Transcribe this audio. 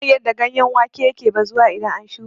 Bana son yadda ganyen wake yake bazuwa idan an shuƙa.